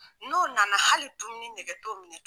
N'o nana hali dumuni nɛgɛ t'o minɛ tugun